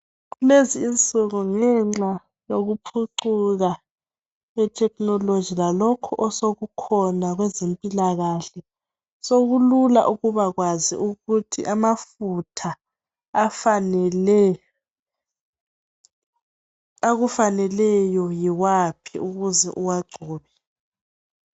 Kulezinsuku ngenxa yokuphucuka kwe thekhinoloji lalokhu osekukhona kwezempilakahle sokulula ukubakwazi ukuthi amafutha akufaneleyo yiwaphi ukuze uwagcobe.